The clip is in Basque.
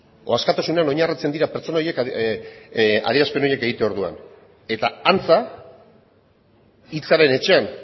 edo askatasunean oinarritzen dira pertsona horiek adierazpen horiek egiterako orduan eta antza hitzaren etxean